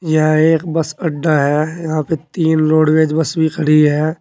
यहां एक बस अड्डा है यहां पे तीन रोडवेज बस भी खड़ी है।